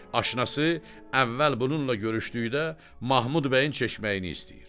Aşinası əvvəl bununla görüşdükdə Mahmud bəyin çeşməyini istəyir.